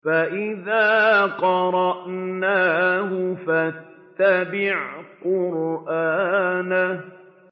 فَإِذَا قَرَأْنَاهُ فَاتَّبِعْ قُرْآنَهُ